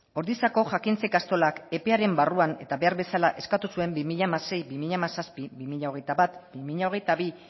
ordiziako jakintza ikastolak epearen barruan eta behar bezala eskatu zuen bi mila hamasei bi mila hamazazpi bi mila hogeita bat bi mila hogeita bi